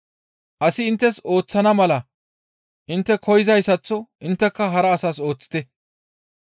«Asi inttes ooththana mala intte koyzayssaththo intteka hara asas ooththite.